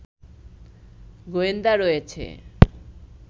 গোয়েন্দা রয়েছে